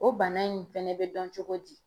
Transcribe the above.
O bana in fɛnɛ be dɔn cogo di?